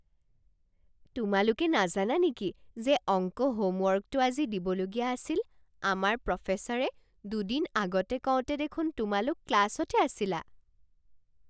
তোমালোকে নাজানা নেকি যে অংক হোমৱৰ্কটো আজি দিবলগীয়া আছিল? আমাক প্ৰফেছৰে দুদিন আগতে কওঁতে দেখোন তোমালোক ক্লাছতে আছিলা।